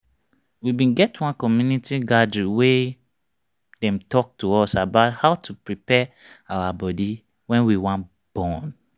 we bin get one community gathering wey dem talk to us about how to prepare our body when we wan born